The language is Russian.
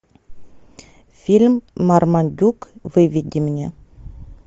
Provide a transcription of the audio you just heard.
фильм мармадюк выведи мне